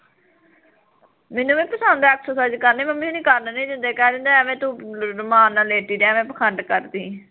ਮੈਨੂੰ ਵੀ ਪਸੰਦ ਐ exercise ਕਰਣੀ ਮੰਮੀ ਹੁਣੀ ਕਰਨ ਨੀ ਦਿੰਦੇ ਕਹਿ ਦਿੰਦੇ ਅਵੇ ਤੂੰ ਅਰਮਾਨ ਨਾਲ਼ ਲੇਟੀ ਰਵੇ ਪਖੰਡ ਕਰਦੀ